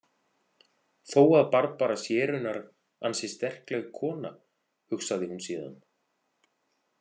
Þó að Barbara sé raunar ansi sterkleg kona, hugsaði hún síðan.